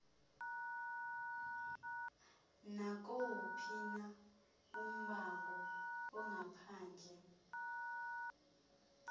nakuwuphina ummango ongaphandle